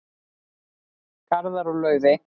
Garðar og Laufey.